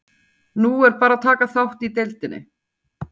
Nú er bara að taka þátt í deildinni.